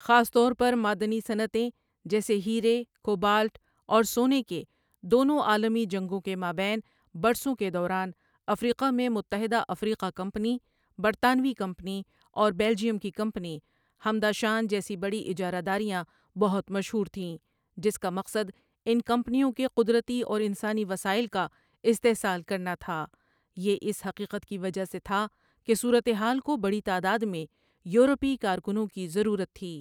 خاص طور پر معدنی صنعتیں جیسے ہیرے ، کوبالٹ اور سونے کے دونوں عالمی جنگوں کے مابین برسوں کے دوران ، افریقہ میں متحدہ افریقہ کمپنی ، برطانوی کمپنی اور بیلجیئم کی کمپنی ہمداشان جیسی بڑی اجارہ داریاں بہت مشہور تھیں جس کا مقصد ان کمپنیوں کے قدرتی اور انسانی وسائل کا استحصال کرنا تھا یہ اس حقیقت کی وجہ سے تھا کہ صورتحال کو بڑی تعداد میں یورپی کارکنوں کی ضرورت تھی